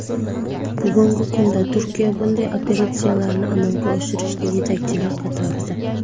Bugungi kunda Turkiya bunday operatsiyalarni amalga oshirishda yetakchilar qatorida.